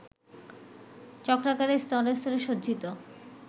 চক্রাকারে স্তরে স্তরে সজ্জিত